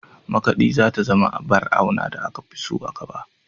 Makaɗi za ta zama abar auna da aka fi so a gaba.